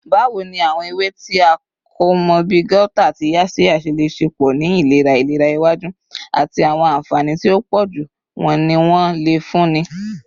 Bawo ni awọn ewe ti a ko mọ bi gauta ati yaxiya ṣe le ṣepọ si ilera ilera iwaju, ati awọn anfani ti o pọju wo ni wọn le funni?